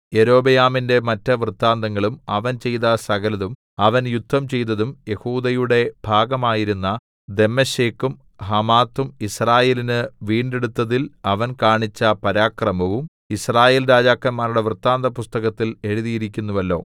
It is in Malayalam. യൊരോബെയാമിന്റെ മറ്റ് വൃത്താന്തങ്ങളും അവൻ ചെയ്ത സകലതും അവൻ യുദ്ധം ചെയ്തതും യെഹൂദയുടെ ഭാഗമായിരുന്ന ദമ്മേശെക്കും ഹമാത്തും യിസ്രായേലിന് വീണ്ടെടുത്തതിൽ അവൻ കാണിച്ച പരാക്രമവും യിസ്രായേൽ രാജാക്കന്മാരുടെ വൃത്താന്തപുസ്തകത്തിൽ എഴുതിയിരിക്കുന്നുവല്ലോ